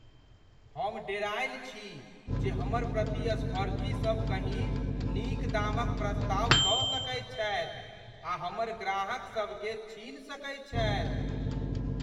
हम डेरायल छी जे हमर प्रतिस्पर्धी सब कहीँ नीक दामक प्रस्ताव दऽ सकैत छथि आ हमर ग्राहकसभकेँ छीनि सकैत छथि।